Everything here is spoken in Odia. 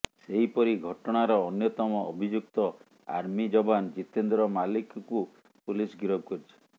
ସେହିପରି ଘଟଣାର ଅନ୍ୟତମ ଅଭିଯୁକ୍ତ ଆର୍ମି ଯବାନ ଜିତେନ୍ଦ୍ର ମାଲିକଙ୍କୁ ପୁଲିସ୍ ଗିରଫ କରିଛି